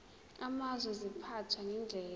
amazwe ziphathwa ngendlela